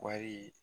Wari